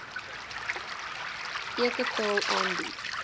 eke tale aanbied